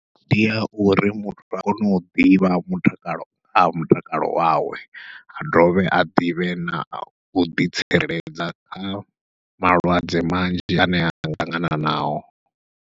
Ndi ya uri muthu a kone u ḓivha mutakalo ha mutakalo wawe a dovhe a ḓivhe nau ḓitsireledza kha malwadze manzhi ane anga ṱangana nao.